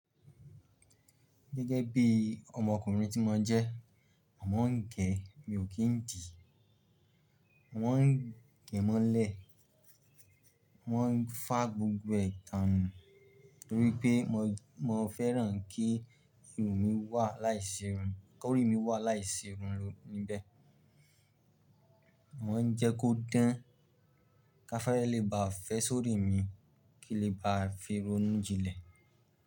Gẹ́gẹ́ bí ọmọkùnrin tí mo jẹ́, n mọ ń gẹ̀, mi ò kí ń dì, wọ́n ń gẹ̀ mọ́lẹ̀, wọ́n ń fà gbogbo ẹ tàn nù torí pé mo fẹ́ran kí irun mi wà láìsí irun, ko orí mi wà láìsí irun níbẹ̀. Wọ́n ń jẹ́ kó dán ká fẹ́rẹ lé bá fẹ́ sórí mi kíi lé bá fi ronú jinlẹ̀.